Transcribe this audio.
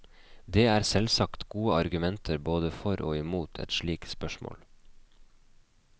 Det er selvsagt gode argumenter både for og mot i et slikt spørsmål.